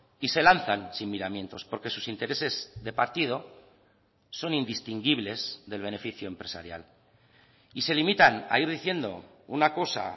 y se lanzan sin miramientos porque sus intereses de partido son indistinguibles del beneficio empresarial y se limitan a ir diciendo una cosa